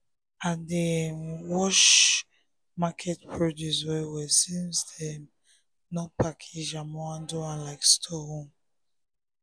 i dey um wash market produce well-well since dem um no package am or handle am like store own.